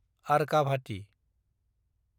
Arkavathi